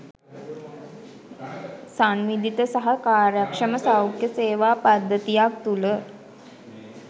සංවිධිත සහ කාර්යක්‍ෂම සෞඛ්‍ය සේවා පද්ධතියක් තුළ